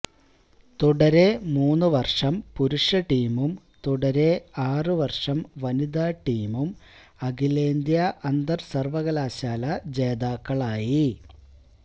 തുടരെ മൂന്നുവര്ഷം പുരുഷ ടീമും തുടരെ ആറുവര്ഷം വനിതാ ടീമും അഖിലേന്ത്യാ അന്തര്സര്വകലാശാല ജേതാക്കളായി